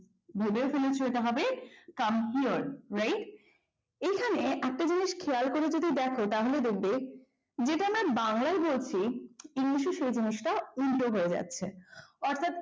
ভেবে ফেলেছ এটা হবে come clear এখানে একটা জিনিস খেয়াল করে দেখো তাহলে দেখবে যেটা আমরা বাংলায় বলছি ইংলিশে সেই জিনিসটা উল্টো হয়ে যাচ্ছে অর্থাৎ